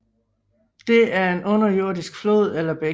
Det er en underjordisk flod eller bæk